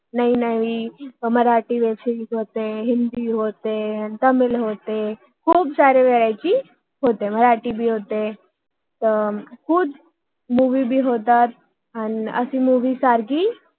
नाही नाही Marathi web series web series होते हिंदी होते तामिळ होते खूप साऱ्या व्हरायटी च्या मोवी होतात मराठी पण होते हम्म मुवि पण होतात